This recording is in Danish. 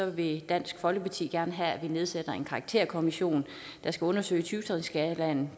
vil dansk folkeparti gerne have at vi nedsætter en karakterkommission der skal undersøge syv trinsskalaen